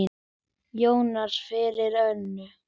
Jónsson fyrir Önnu.